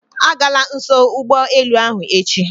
Agala nso ụgbọelu ahụ echi